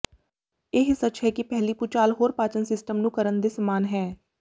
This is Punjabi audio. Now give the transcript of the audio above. ਇਹ ਸੱਚ ਹੈ ਕਿ ਪਹਿਲੀ ਭੂਚਾਲ ਹੋਰ ਪਾਚਨ ਸਿਸਟਮ ਨੂੰ ਕਰਨ ਦੇ ਸਮਾਨ ਹੈ